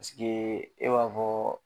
e b'a fɔɔ